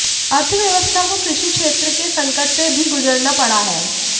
अर्थव्यवस्था को कृषि क्षेत्र के संकट से भी गुजरना पड़ा है